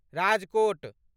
Rajkot